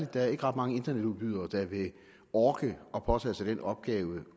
der er ret mange internetudbydere der vil orke at påtage sig den opgave